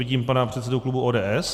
Vidím pana předsedu klubu ODS.